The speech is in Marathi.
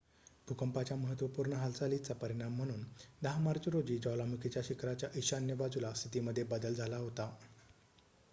भूकंपाच्या महत्त्वपूर्ण हालचालीचा परिणाम म्हणून १० मार्च रोजी ज्वालामुखीच्या शिखराच्या ईशान्य बाजूला स्थितीमध्ये बदल झाला होता